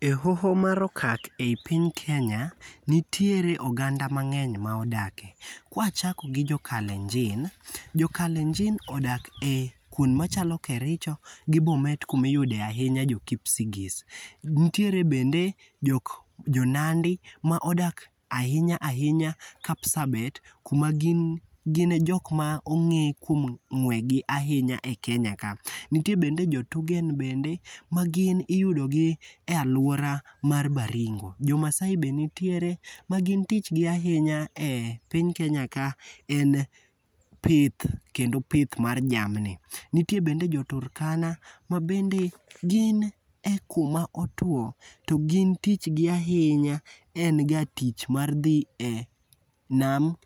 E hoho mar okak ei piny kenya, nitiere oganda mang'eny ma odake. Kwachako gi jokalenjin, jo kalenjin odak e kwonde machalo Kericho gi Bomet kuma iyude ahinya jo Kipsigis. Ntiere bende Jonandi ma odak ahinya ahinya Kapsabet kuma gin e jok ma ong'e kuom ng'wegi ahinya e Kenya ka. Nitie bende Joturgen ma gin iyudogi e alwora mar Baringo. Jomaasai bende nitiere ma gin tich gi ahinya e piny Kenya ka en pith, kendo pith mar jamni. Nitie bende Joturkana ma bende gin e kuma otuwo to gin tich gi ahinya en ga tich mar dhi e nam